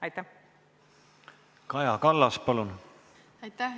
Aitäh!